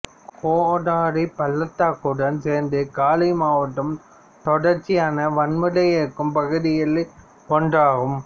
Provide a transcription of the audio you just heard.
கோடோரி பள்ளத்தாக்குடன் சேர்ந்து காலி மாவட்டம் தொடர்ச்சியான வன்முறை இருக்கும் பகுதியில் ஒன்றாகும்